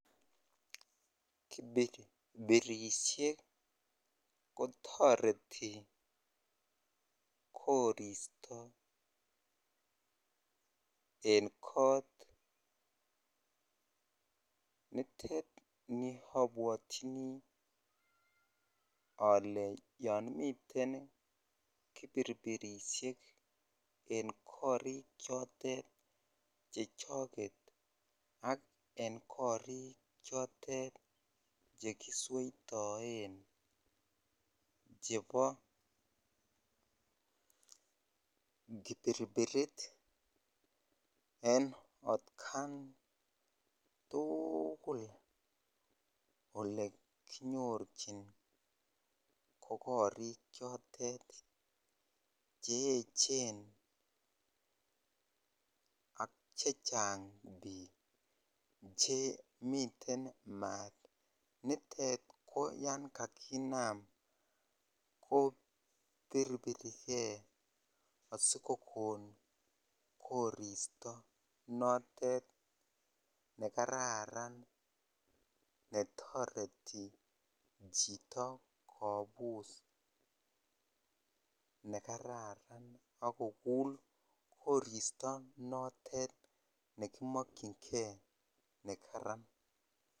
Kipirpirisiek kotoreti koristo en kot netitet niabwotyin yon miten Kipirpirisiek en korik chotet chechoket ak en korik chotet chekisweitoen chebo Kipirpirit en otkan tuugul olekinyorchin ko korik chotet che echen ak chechang biik chemiten maat nitet ko yan kakinam kopirpirike asikokon koristo notet nekararan netoreti chito kobus nekararan akokul koristo notet nekimokyinge nekaran.